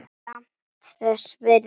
Samt þess virði.